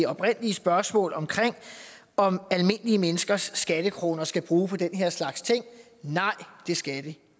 oprindelige spørgsmål om om almindelige menneskers skattekroner skal bruges på den her slags ting nej det skal de